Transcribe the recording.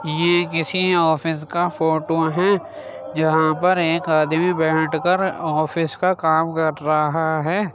ये किसी ऑफिस का फोटो है जहां पर एक आदमी बेठ कर ऑफ़िस का काम कर रहा है।